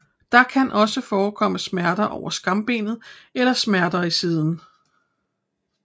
Der kan også forekomme smerter over skambenet eller smerter i siden